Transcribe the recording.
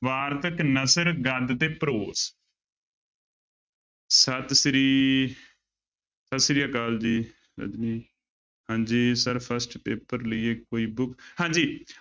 ਵਾਰਤਕ ਨਸਰ ਗਦ ਤੇ prose ਸਤਿ ਸ੍ਰੀ, ਸਤਿ ਸ੍ਰੀ ਅਕਾਲ ਜੀ ਰਜਨੀ ਹਾਂਜੀ ਸਰ first ਪੇਪਰ ਲਈ ਕੋਈ book ਹਾਂਜੀ